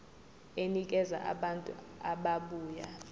enikeza abantu ababuya